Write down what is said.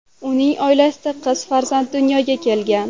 Uning oilasida qiz farzand dunyoga kelgan .